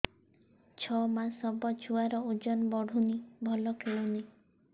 ଛଅ ମାସ ହବ ଛୁଆର ଓଜନ ବଢୁନି ଭଲ ଖେଳୁନି